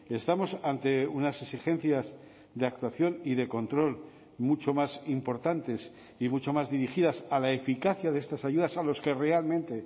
estamos ante unas exigencias de actuación y de control mucho más importantes y mucho más dirigidas a la eficacia de estas ayudas a los que realmente